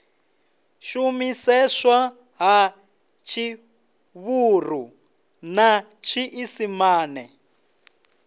shumiseswa ha tshivhuru na tshiisimane